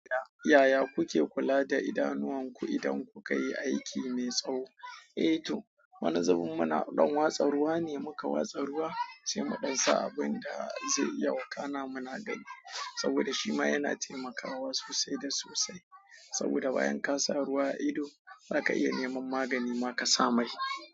Yaya kuke kula da idanuwanku idan kuka yi aiki mai tsawo? Eh to, wani zubin muna ɗa watsa ruwa ne muka watsa ruwa, sai mu ɗan sa abin da zai iya wakana muna gani saboda shima yana taimakawa sosai da sosai. Saboda bayan ka sa ruwa ido, zaka iya neman magani ma ka sa mai.